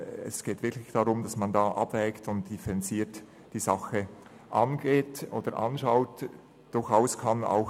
Es geht wirklich darum, dass man abwägt und die Angelegenheit differenziert angeht.